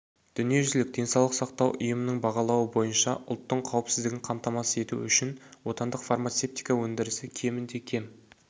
дүниежүзілік денсаулық сақтау ұйымының бағалауы бойынша ұлттың қауіпсіздігін қамтамасыз ету үшін отандық фармацевтика өндірісі кемінде кем